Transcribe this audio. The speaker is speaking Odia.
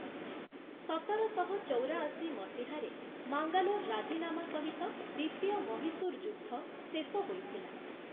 ସତରଶହ ଚଉରାଅଶୀ ମସିହାରେ ମାଙ୍ଗାଲୋର ରାଜିନାମା ସହିତ ଦ୍ୱିତୀୟ ମହୀଶୂର ଯୁଦ୍ଧ ଶେଷ ହୋଇଥିଲା ।